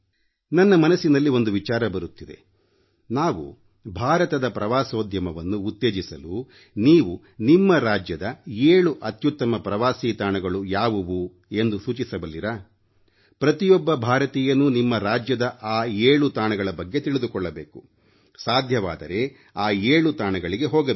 ನನ್ನ ಮನಸ್ಸಿನಲ್ಲಿ ಒಂದು ವಿಚಾರ ಬರುತ್ತಿದೆ ನಾವು ಭಾರತದ ಪ್ರವಾಸೋದ್ಯಮವನ್ನು ಉತ್ತೇಜಿಸಲು ನೀವು ನಿಮ್ಮ ರಾಜ್ಯದ 7 ಅತ್ತ್ಯುತ್ತಮ ಪ್ರವಾಸೀ ತಾಣಗಳು ಯಾವುವು ಎಂದು ಸೂಚಿಸಬಲ್ಲಿರಾ ಪ್ರತಿಯೊಬ್ಬ ಭಾರತೀಯನೂ ನಿಮ್ಮ ರಾಜ್ಯದ ಆ 7 ತಾಣಗಳ ಬಗ್ಗೆ ತಿಳಿದುಕೊಳ್ಳಬೇಕು ಸಾಧ್ಯವಾದರೆ ಆ 7 ತಾಣಗಳಿಗೆ ಹೋಗಬೇಕು